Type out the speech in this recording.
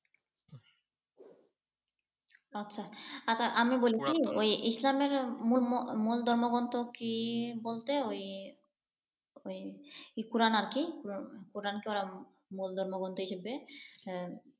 আচ্ছা আচ্ছা আমি বলি কি ওই ইসলামের মূল ধর্মগ্রন্থ কি বলতে ওই ওই কোরআন আরকি । কুরআন কে ওরা মূল ধর্মগ্রন্থ হিসেবে